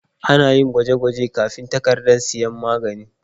Ana yin gwaje-gwaje kafin takardar sayan magani.